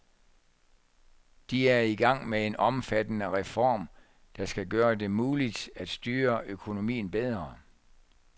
De er i gang med en omfattende reform, der skal gøre det muligt at styre økonomien bedre.